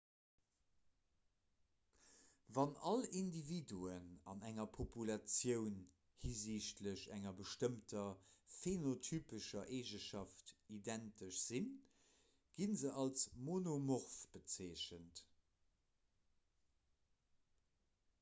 wann all individuen an enger populatioun hisichtlech enger bestëmmter phenotypescher eegenschaft identesch sinn gi se als monomorph bezeechent